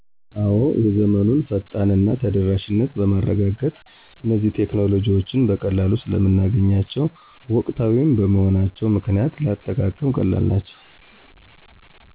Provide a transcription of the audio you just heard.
አዎ የዘመኑን ፈጣን እና ተደራሽነት በማረጋገጥ እነዚህ ቴክኖሎጂዎችን በቀላሉ ስለምናገኛቸው ወቅታዊም በመሆናቸው ምክንያት ለአጠቃቀም ቀላል ናቸው